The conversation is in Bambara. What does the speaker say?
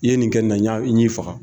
I ye nin kɛ nin na n y'i faga.